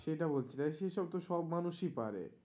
সেটা বলছি না সেইসব তো সব মানুষই পারে.